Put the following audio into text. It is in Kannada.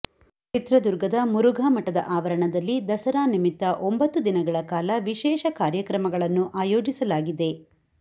ಚಿತ್ರದುರ್ಗದ ಮುರುಘಾ ಮಠದ ಆವರಣದಲ್ಲಿ ದಸರಾ ನಿಮಿತ್ತ ಒಂಬತ್ತು ದಿನಗಳ ಕಾಲ ವಿಶೇಷ ಕಾರ್ಯಕ್ರಮಗಳನ್ನು ಆಯೋಜಿಸಲಾಗಿದೆ